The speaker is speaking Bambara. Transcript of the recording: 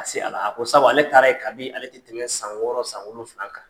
A se a la a ko sabu ale taara ye kabii ale te tɛmɛ san wɔɔrɔ san wolonfila kan.